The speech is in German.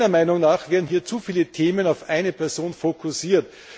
Meiner Meinung nach werden hier zu viele Themen auf eine Person fokussiert.